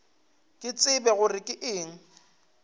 ke tsebe gore ke eng